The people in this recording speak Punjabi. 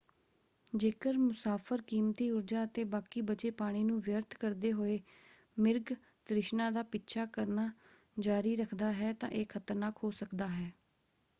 ਜੇਕਰ ਮੁਸਾਫ਼ਰ ਕੀਮਤੀ ਊਰਜਾ ਅਤੇ ਬਾਕੀ ਬਚੇ ਪਾਣੀ ਨੂੰ ਵਿਅਰਥ ਕਰਦੇ ਹੋਏ ਮਿਰਗ ਤ੍ਰਿਸ਼ਨਾ ਦਾ ਪਿੱਛਾ ਕਰਨਾ ਜਾਰੀ ਰੱਖਦਾ ਹੈ ਤਾਂ ਇਹ ਖਤਰਨਾਕ ਹੋ ਸਕਦਾ ਹੈ।